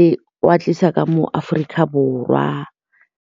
le go a tlisa ka mo Aforika Borwa.